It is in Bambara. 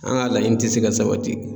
An ka laɲini tɛ se ka sabati.